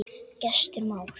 Gestur Már.